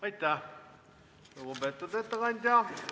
Aitäh, lugupeetud ettekandja!